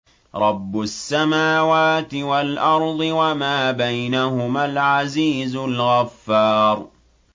رَبُّ السَّمَاوَاتِ وَالْأَرْضِ وَمَا بَيْنَهُمَا الْعَزِيزُ الْغَفَّارُ